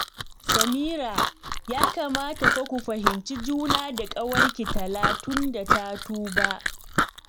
Samira, ya kamata fa ku fahimci juna da ƙawarki Tala don ta tuba